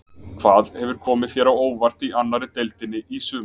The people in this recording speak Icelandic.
Hvað hefur komið þér á óvart í annari deildinni í sumar?